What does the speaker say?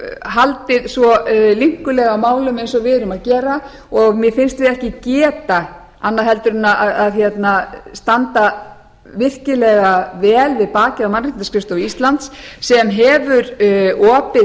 haldið svo linkulega á málum eins og við erum að gera og mér finnst við ekki geta annað en staðið virkilega vel við bakið á mannréttindaskrifstofu íslands sem hefur opið